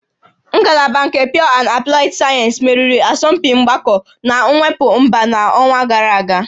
Ngalaba nke Pure and Applied Mathematics meriri asọmpi mgbakọ na mwepụ mba n'ọnwa gara aga